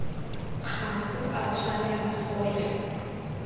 ga go a tshwanela gore